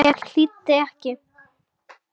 Ég hlýddi ekki.